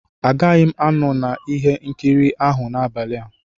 Agaghị m anọ na ihe nkiri ahụ n'abalị a.